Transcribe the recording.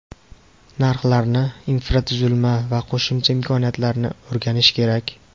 Narxlarni, infratuzilma va qo‘shimcha imkoniyatlarni o‘rganish kerak.